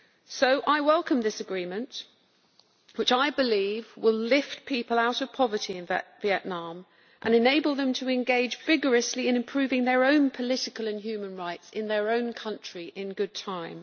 So I welcome this agreement, which I believe will lift people out of poverty in Vietnam and enable them to engage vigorously in improving their own political and human rights in their own country in good time.